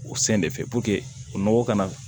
O sen de fɛ o nɔgɔ kana